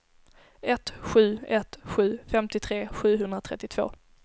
ett sju ett sju femtiotre sjuhundratrettiotvå